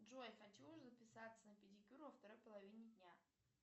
джой хочу записаться на педикюр во второй половине дня